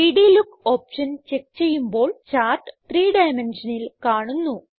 3ഡ് look option check ചെയ്യുമ്പോൾ chart 3 ഡൈമെൻഷനിൽ കാണുന്നു